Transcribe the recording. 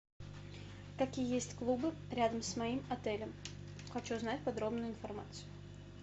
какие есть клубы рядом с моим отелем хочу знать подробную информацию